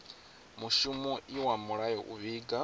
mushumo iwa mulayo u vhiga